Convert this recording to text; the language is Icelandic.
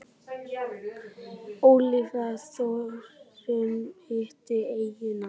Ólafía Þórunn hitti eyjuna.